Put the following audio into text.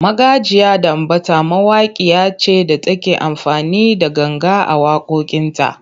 Magajiya Danbatta mawakiya ce da take amfani da ganga a waƙoƙinta.